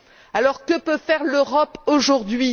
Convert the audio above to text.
Alors, que peut faire l'Europe aujourd'hui?